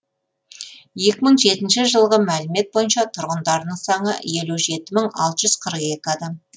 екі мың жетінші жылғы мәлімет бойынша тұрғындарының саны елу жеті мың алты жүз қырық екі адам